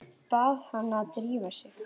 Bað hana að drífa sig.